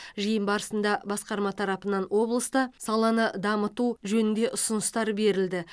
жиын барысында басқарма тарапынан облыста саланы дамыту жөнінде ұсыныстар берілді